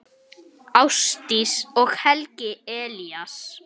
Ásdís og Helgi Elías.